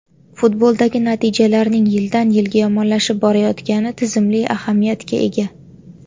Futboldagi natijalarning yildan-yilga yomonlashib borayotgani tizimli ahamiyatga ega.